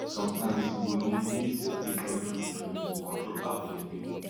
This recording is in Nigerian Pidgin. sometimes you go need need separate male from female to control how dem breed